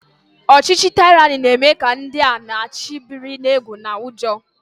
Ọchịchị taịrani na-eme ka ndị a na-achị biri n'egwu na ụjọ